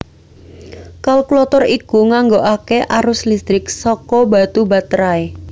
Kalkulator iku nganggokaké arus listrik saka batu baterai